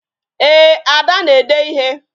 Ee, Ada na-ede ịhe